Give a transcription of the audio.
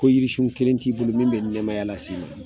Ko yirisun kelen t'i bolo, min bɛ nɛmaya las'i ma.